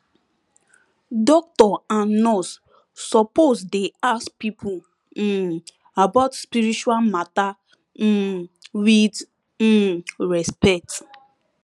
doctor and nurse suppose dey ask pipo um about spiritual mata um wit um respect